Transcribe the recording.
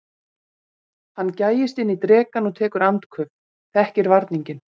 Hann gægist inn í drekann og tekur andköf, þekkir varninginn.